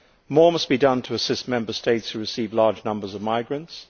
More must be done to assist Member States who receive large numbers of migrants.